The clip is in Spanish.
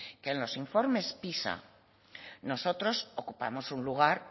que en los informes pisa nosotros ocupamos un lugar